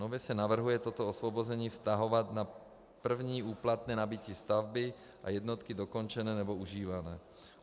Nově se navrhuje toto osvobození vztahovat na první úplatné nabytí stavby a jednotky dokončené nebo užívané.